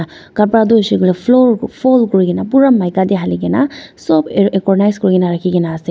kapra tu hoishey koilae floor fold kurikaena pura maika tae halikae na sop ar organise kurikaena rakhina ase.